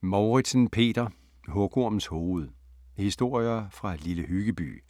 Mouritzen, Peter: Hugormens hoved: historier fra Lille Hyggeby